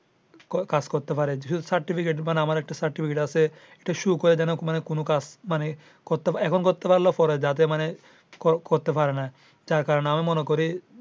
কাজ করতে পারে মানে আমার একটা certificate আছে এখন করতে পারলে পরে যাতে মানে করতে পারে না। যার কারণে আমি মনে করি।